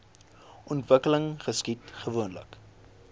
ontwikkeling geskied gewoonlik